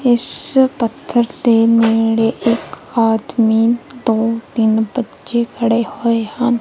ਇਸ ਪੱਥਰ ਦੇ ਨੇੜੇ ਇੱਕ ਆਦਮੀ ਦੋ ਤਿੰਨ ਬੱਚੇ ਖੜੇ ਹੋਏ ਹਨ।